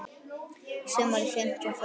Sumarið fimmtíu og fimm.